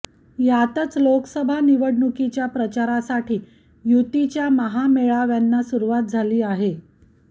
यातच लोकसभा निवडणुकीच्या प्रचारासाठी युतीच्या महामेळाव्यांना सुरुवात झाली आहे